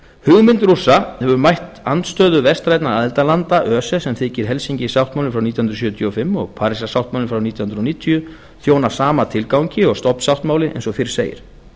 hugmynd rússa hefur mætt andstöðu vestrænna aðildarlanda öse sem þykir helsinki sáttmálinn frá nítján hundruð sjötíu og fimm og parísar sáttmálinn frá nítján hundruð níutíu þjóna sama tilgangi og stofnsáttmáli eins og fyrr segir